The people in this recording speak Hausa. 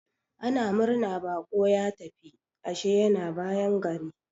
Ana murna baƙo ya tafi, ashe yana bayan gari.